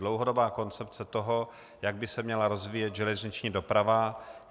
Dlouhodobá koncepce toho, jak by se měla rozvíjet železniční doprava.